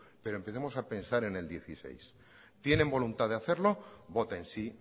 pero empecemos a pensar en el dos mil dieciséis tienen voluntad de hacerlo voten sí